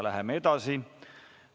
Läheme edasi.